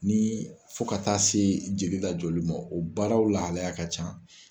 Ni fo ka taa se jeli lajɔli ma o baaraw lahalaya ka can.